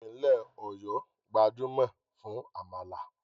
Ìpínlẹ̀ Ọ̀yọ́ gbajúmọ̀ fún àmàlà